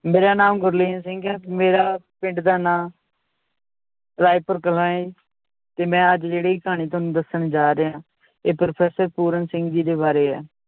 ਮੇਰਾ ਨਾਮ ਗੁਰਲੀਨ ਸਿੰਘ ਹੈ ਮੇਰਾ ਪਿੰਡ ਦਾ ਨਾਂ ਰਾਏਪੁਰ ਕਲਾਂ ਏ ਤੇ ਮੈ ਅੱਜ ਜਿਹੜੀ ਕਹਾਣੀ ਤੁਹਾਨੂੰ ਦੱਸਣ ਜਾ ਰਿਹਾਂ ਇਹ professor ਪੂਰਨ ਸਿੰਘ ਜੀ ਦੇ ਬਾਰੇ ਹੈ l